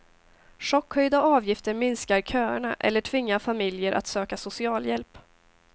Chockhöjda avgifter minskar köerna eller tvingar familjer att söka socialhjälp.